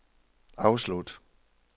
afslut